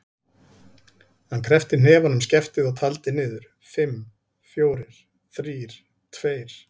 Hann kreppti hnefann um skeftið og taldi niður: fimm, fjórir, þrír, tveir.